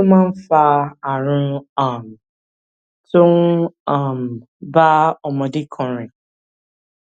kí ló máa ń fa àrùn um tó um ń bá ọmọdé kan rìn